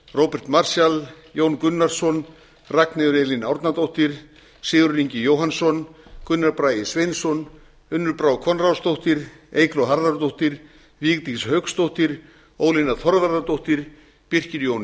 róbert marshall jón gunnarsson ragnheiður e árnadóttir sigurður ingi jóhannsson gunnar bragi sveinsson unnur brá konráðsdóttir eygló harðardóttir vigdís hauksdóttir ólína þorvarðardóttir birkir jón